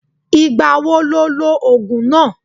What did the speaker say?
Ìgbà wo lo lo ògùn náà?